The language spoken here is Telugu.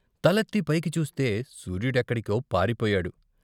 తలెత్తి పైకి చూస్తే సూర్యుడెక్కడికో పారిపోయాడు.